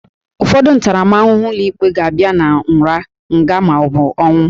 Ụfọdụ ntaramahụhụ ụlọikpe ga-abịa na nra, nga, ma ọ bụ ọnwụ